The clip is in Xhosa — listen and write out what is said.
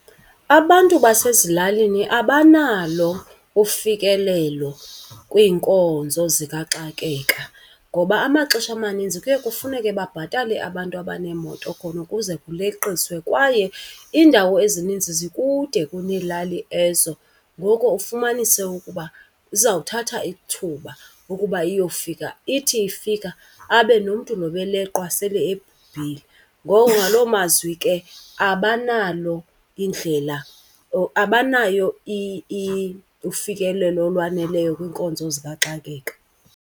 Abantu basezilalini abanalo ufikelelo kwiinkonzo zikaxakeka ngoba amaxesha amaninzi kuye kufuneke babhatale abantu abaneemoto khona ukuze kuleqisiwe. Kwaye iindawo ezininzi zikude kuneelali ezo ngoko ufumanise ukuba izawuthatha ithuba ukuba iyofika, ithi ifika abe nomntu lo ebeleqwa sele ebhubhile. Ngoko ngaloo mazwi ke abanalo indlela or abanayo ufikelelo olwaneleyo kwiinkonzo zikaxakeka.